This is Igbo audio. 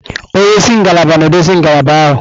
Onye isi ngalaba na-eduzi ngalaba ahụ.